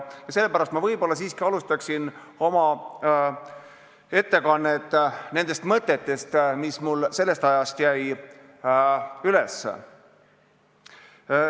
Sellepärast ma siiski alustaksin oma ettekannet nendest mõtetest, mis mul küsimuste esitamise ajast pähe jäid.